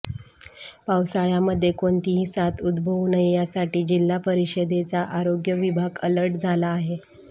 पावसाळय़ामध्ये कोणतीही साथ उदभवू नये यासाठी जिल्हा परिषदेचा आरोग्य विभाग अलर्ट झाला आहे